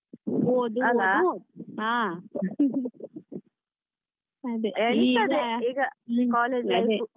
ಓದು ಓದು ಓದು ಅದೇ ಇರ್ತದೆ ಈಗ college life .